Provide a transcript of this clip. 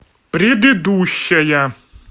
предыдущая